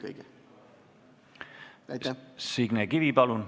Signe Kivi, palun!